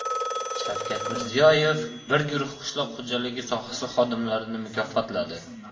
Shavkat Mirziyoyev bir guruh qishloq xo‘jaligi sohasi xodimlarini mukofotladi.